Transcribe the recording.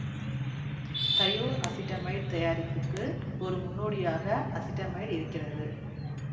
தையோ acetamide தயாரிப்புக்கு ஒரு முன்னோடியாக அசிட்டமைடு இருக்கிறது